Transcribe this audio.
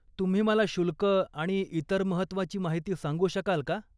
तुम्ही मला शुल्क आणि इतर महत्वाची माहिती सांगू शकाल का?